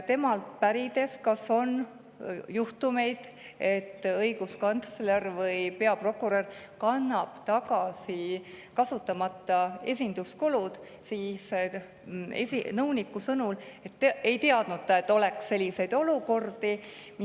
kas on olnud juhtumeid, et õiguskantsler või peaprokurör on kandnud tagasi esinduskuludeks kasutamata, ta, et tema ei tea, et selliseid olukordi oleks olnud.